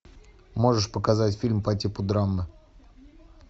можешь показать фильм по типу драмы